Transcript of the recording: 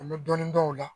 An bɛ dɔɔnin dɔw la